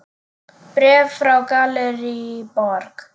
Bréf frá Gallerí Borg.